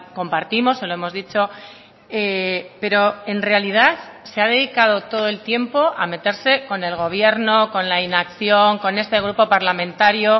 compartimos se lo hemos dicho pero en realidad se ha dedicado todo el tiempo a meterse con el gobierno con la inacción con este grupo parlamentario